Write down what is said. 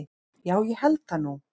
Já ég held það nú.